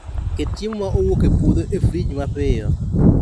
Ket chiemo ma owuok e puodho e frig mapiyo